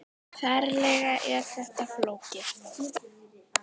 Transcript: Ferlega er þetta flókið!